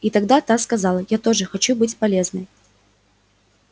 и тогда та сказала я тоже хочу быть полезной